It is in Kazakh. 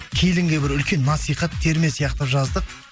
келінге бір үлкен насихат терме сияқты жаздық